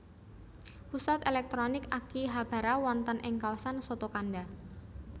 Pusat èlèktronik Akihabara wonten ing kawasan Sotokanda